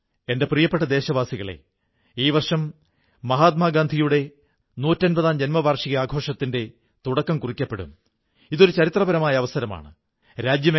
എന്റെ പ്രിയപ്പെട്ട ദേശവാസികളേ കുറച്ചു ദിവസങ്ങൾക്കുള്ളിൽ സർദാർ വല്ലഭ് ഭായി പട്ടേലിന്റെ ജയന്തി ഒക്ടോബർ 31 ന് നാം ദേശീയ ഏകതാ ദിവസമായി ആഘോഷിക്കും